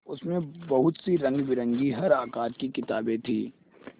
उसमें बहुत सी रंगबिरंगी हर आकार की किताबें थीं